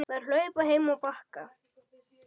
Þær hlupu heim á Bakka.